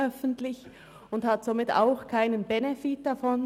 Somit hat sie auch keinen Benefit davon.